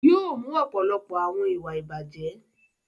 Yóò mú ọ̀pọ̀lọpọ̀ àwọn ìwà ìbàjẹ́.